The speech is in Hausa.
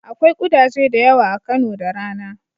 Akwai ƙudaje da yawa a Kano da rana.